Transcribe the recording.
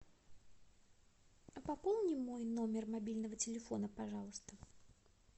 а пополни мой номер мобильного телефона пожалуйста